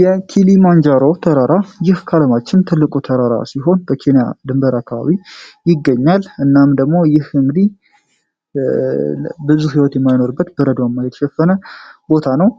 የ ኪሊማንጃሮ ተራራ ይህ ካለማችን ትልቁ ተራራ ሲሆን በኬንያ ድንበር አካባቢ ይገኛል እናም ደግሞ ይህ እንግዲህ ብዙ ሕይወት የማይኖርበት በበረዶ የተሸፈነ ቦታ ነው